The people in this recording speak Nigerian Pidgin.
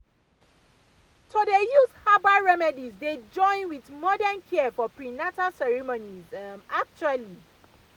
to dey use herbal remedies dey join with modern care for prenatal ceremonies um actually